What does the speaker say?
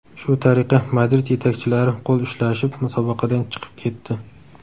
Shu tariqa Madrid yetakchilari qo‘l ushlashib, musobaqadan chiqib ketdi.